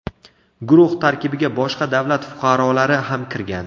Guruh tarkibiga boshqa davlat fuqarolari ham kirgan.